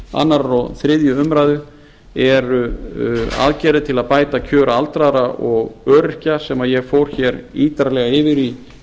annars og þriðju umræðu eru aðgerðir til að bæta kjör aldraðra og öryrkja sem ég fór hér ítarlega yfir í